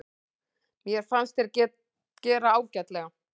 Mér fannst þeir gera ágætlega.